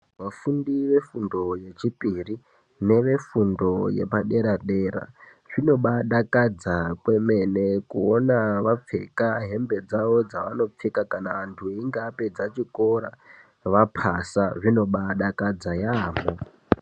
Vafundi vefundo yechipiri nevefundo yepadera dera zvinobadakadza kwemene kuona vapfeka hembe dzavo dzavanopfeka vapedza chikora vapasa zvino baadakadza yaamho.